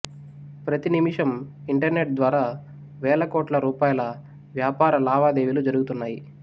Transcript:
ప్రతి నిమిషం ఇంటర్నెట్ ద్వారా వేలకోట్ల రూపాయల వ్యాపా ర లావాదేవీలు జరుగుతున్నాయి